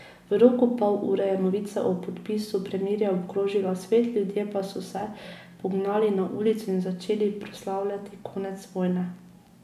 V roku pol ure je novica o podpisu premirja obkrožila svet, ljudje pa so se pognali na ulice in začeli proslavljati konec vojne.